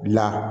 La